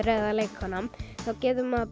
eða leikkona þá getur maður